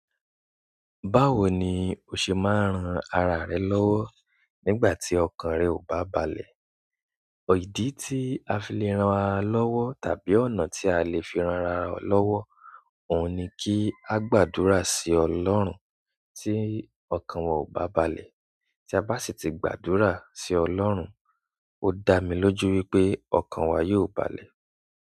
Báwo ni o ṣe máa ń ran ara rẹ lọ́wọ́ nígbà tí ọkàn rẹ ò bá balẹ̀? Idì tí a fi lè ran ara lọ́wọ́ tàbí ọ̀nà tí a lè fi ran ara lọ́wọ́. Oun ni ki a gbàdúrà si ọlọ́run ti okan wa o ba balẹ̀ tí a bá sì ti gbàdúrà sí ọlọ́run, ó dá mi lójú wípé ọkàn wa yóò balẹ̀.